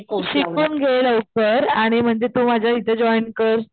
तू शिकून घे लवकर आणि म्हणजे तू माझ्या इथे जॉईन कर